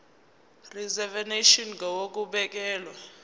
reservation ngur ukubekelwa